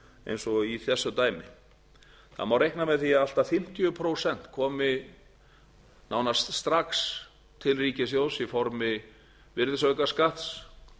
eins og í þessu dæmi það má reikna með því að allt að fimmtíu prósent komi nánast strax til ríkissjóðs í formi virðisaukaskatts